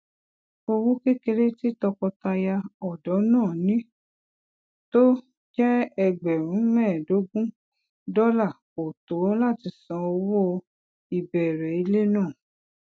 owó kékeré tí tọkọtaya òdó náà ní tó jé ẹgbèrún méèédógún dólà kò tó láti san owó ìbèrè ilé náà